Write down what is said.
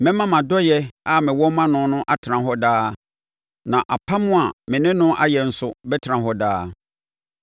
Mɛma mʼadɔeɛ a mewɔ ma no no atena hɔ daa, na apam a me ne no ayɛ nso bɛtena hɔ daa.